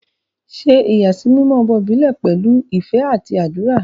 Ṣe ìyàsímímọ́ ọmọ ìbílẹ̀ pẹ̀lú ìfẹ́ àti àdúrà.